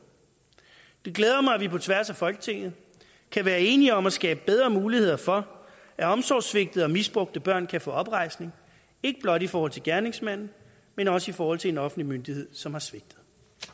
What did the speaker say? det glæder mig at vi på tværs af folketinget kan være enige om at skabe bedre muligheder for at omsorgssvigtede og misbrugte børn kan få oprejsning ikke blot i forhold til gerningsmanden men også i forhold til en offentlig myndighed som har svigtet